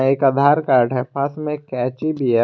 एक आधार कार्ड है पास में एक कैंची भी है।